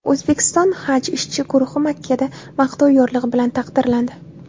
O‘zbekiston haj ishchi guruhi Makkada maqtov yorlig‘i bilan taqdirlandi.